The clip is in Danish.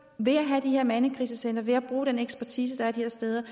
ved at have de her mandekrisecentre ved at bruge den ekspertise der er de her steder